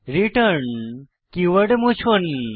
return keyword মুছুন